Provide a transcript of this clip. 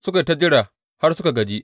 Suka yi ta jira har suka gaji.